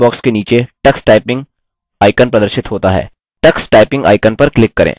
search box के नीचे tux typing icon प्रदर्शित होता है